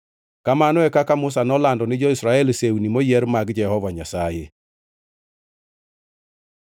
Kamano e kaka Musa nolando ni jo-Israel sewni moyier mag Jehova Nyasaye.